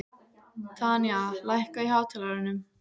Tanya, lækkaðu í hátalaranum.